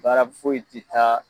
Baara foyi ti taa